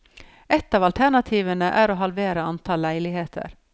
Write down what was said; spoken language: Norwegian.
Ett av alternativene er å halvere antall leiligheter.